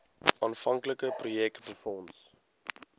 aanvanklike projek befonds